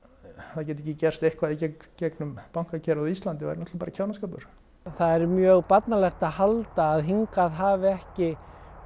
það geti ekki gerst eitthvað í gegnum bankakerfið á Íslandi væri bara kjánaskapur það væri mjög barnalegt að halda að hingað hafi ekki